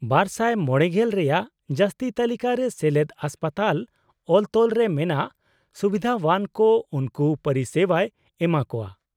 -᱒᱕᱐ᱼᱨᱮᱭᱟᱜ ᱡᱟᱹᱥᱛᱤ ᱛᱟᱹᱞᱤᱠᱟ ᱨᱮ ᱥᱮᱞᱮᱫ ᱦᱟᱥᱯᱟᱛᱟᱞ ᱚᱞᱼᱛᱚᱞ ᱨᱮ ᱢᱮᱱᱟᱜ ᱥᱩᱵᱤᱫᱷᱟᱣᱟᱱ ᱠᱚ ᱩᱱᱠᱩ ᱯᱚᱨᱤᱥᱮᱵᱟᱭ ᱮᱢᱟᱠᱚᱣᱟ ᱾